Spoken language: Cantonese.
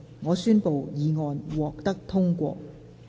我宣布議案獲得通過。